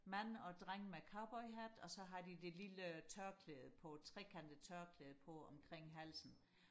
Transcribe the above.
mand og dreng med cowboyhat og så har de det lille tørklæde på trekantede tørklæde på omkring halsen